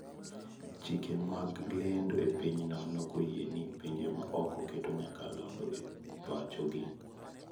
Chike mag lendo e piny no ne okoyie ne pinje ma oko keto nyakalando e pacho gi.